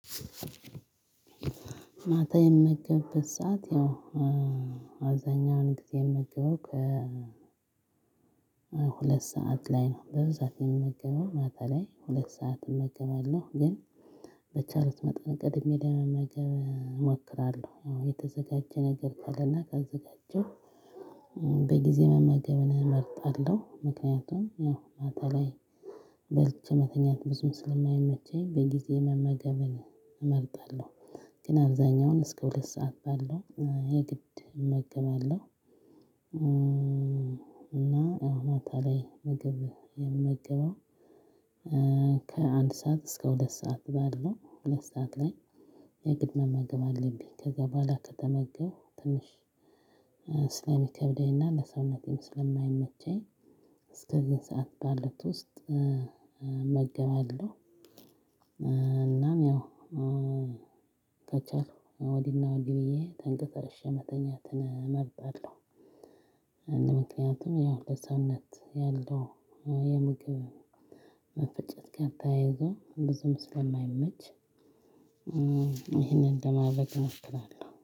ማታ የምመገበት ሰዓት ያው አብዛኛውን ጊዜ የምመገበው ከ ሁለት ሰዓት ላይ ነው። በብዛት የምመገበው ማታ ላይ ሁለት ሰዓት እመገባለሁ ግን በቻሉት መጠን ቀድሜ ለመገብ እሞክራለሁ። ያው የተዘጋጀ ነገር ከሌለ ካዘጋጀው በጊዜ መመገብን እመርጣለሁ። ምክንያቱም ያው ማታ ላይ በልቼ መተኛት ብዙም ስለማይመቸኝ በጊዜ መመገብን እመርጣለሁ። ግን አብዛኛውን እስከ ሁለት ሰዓት ባለው የግድ እመገባለሁ። እና አሁን ማታ ላይ ምግብ የምመገበው ከአንድ ሰዓት እስከ ሁለት ሰዓት ባለው ሁለት ሰዓት ላይ የግድ መመገብ አለብኝ። ከዛ በኋላ ከተመገብኩ ትንሽ ስለሚከብደኝና ለሰውነቴም ስለማይመቸኝ እስከዚህን ሰዓት ባሉት ውስጥ እመገባለሁ። እናም ያው ከቻልኩ ወዲህና ወዲህ ብዬ ተንቀሳርቅሼ መተኛትን እመርጣለሁ። እንደ ምክንያትም ያው ለሰውነት ያለው የምግብ መፈጨት ጋር ተያይዞ ብዙም ስለማይመች ይሄንን እንደማድረግ እሞክራለሁ